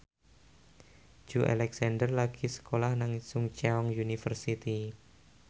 Joey Alexander lagi sekolah nang Chungceong University